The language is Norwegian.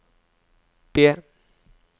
B